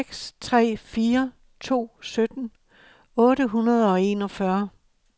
seks tre fire to sytten otte hundrede og enogfyrre